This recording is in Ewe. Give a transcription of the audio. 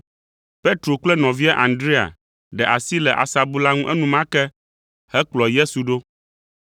Petro kple nɔvia Andrea ɖe asi le asabu la ŋu enumake hekplɔ Yesu ɖo.